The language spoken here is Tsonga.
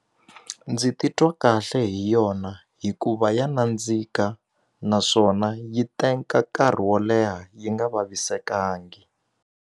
Ndzi titwa kahle hi yona hikuva ya nandzika naswona yi nkarhi wo leha yi nga vavisekangi.